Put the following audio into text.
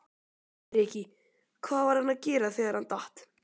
Breki: Hvað var hann að gera þegar hann datt?